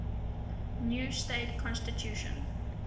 new state constitution